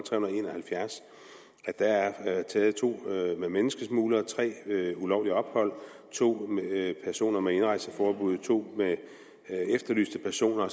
halvfjerds at der er blevet taget to menneskesmuglere tre med ulovligt ophold to personer med indrejseforbud to efterlyste personer